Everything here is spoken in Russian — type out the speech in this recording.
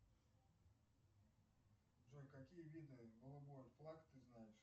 джой какие виды голубой флаг ты знаешь